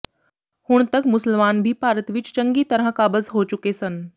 ਹੁਣ ਤੱਕ ਮੁਸਲਮਾਨ ਭੀ ਭਾਰਤ ਵਿੱਚ ਚੰਗੀ ਤਰਾਂ ਕਾਬਜ਼ ਹੋ ਚੁੱਕੇ ਸਨ